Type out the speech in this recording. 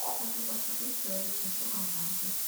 хочу посмотреть человек в высоком замке